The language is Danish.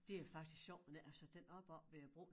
Det er faktisk sjovt med den altså den oppe oppe ved æ bro